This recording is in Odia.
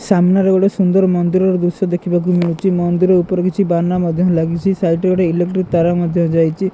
ସାମ୍ନାରେ ଗୋଟେ ସୁନ୍ଦର ମନ୍ଦିରର ଦୃଶ୍ୟ ଦେଖିବାକୁ ମିଳୁଚି ମନ୍ଦିର ଉପରେ କିଛି ବାନା ମଧ୍ୟ ଲାଗିଛି ସାଇଡ୍ ରେ ଗୋଟେ ଇଲେକ୍ଟ୍ରିକ ତାର ମଧ୍ୟ ଯାଇଚି।